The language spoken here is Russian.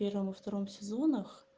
в первом во втором сезонах